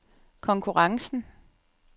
konkurrencen